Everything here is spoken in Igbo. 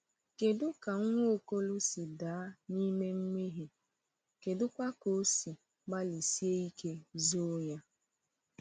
Kedụ ka Nwaokolo si daa n’ime mmehie, kedụkwa ka o si gbalịsie ike zoo ya?